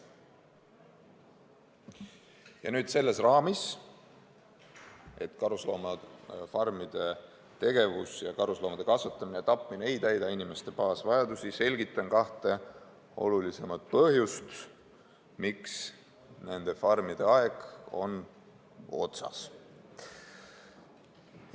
Ja nüüd, püsides selles raamis, et karusloomafarmide tegevus ja karusloomade kasvatamine ning tapmine ei täida inimeste põhivajadusi, ma selgitan kahte olulisemat põhjust, miks nende farmide aeg on otsas.